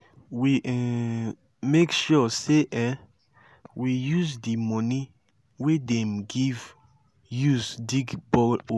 we um make sure sey um we use di money wey dem give use dig borehole.